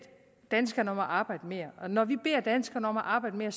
danskerne om at arbejde mere og når vi beder danskerne om at arbejde mere er